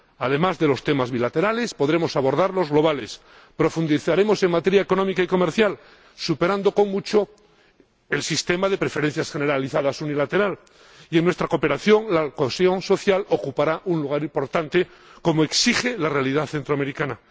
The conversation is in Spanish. Además de los temas bilaterales, podremos abordar los globales, profundizaremos en materia económica y comercial, superando con mucho el sistema de preferencias generalizadas unilateral, y, en nuestra cooperación, la cohesión social ocupará un lugar importante, como exige la realidad centroamericana.